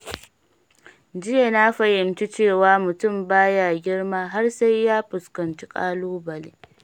Jiya, na fahimci cewa mutum baya girma har sai ya fuskanci ƙalubale.